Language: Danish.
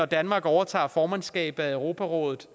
danmark overtager formandskabet i europarådet